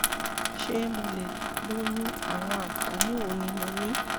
ṣé mo lè lóyún? àwọn àǹfààní wo ni mo ní?